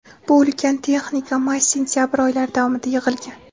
Bu ulkan texnika may-sentabr oylari davomida yig‘ilgan.